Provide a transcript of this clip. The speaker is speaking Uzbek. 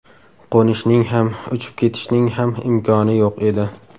Qo‘nishning ham, uchib ketishning ham imkoni yo‘q edi.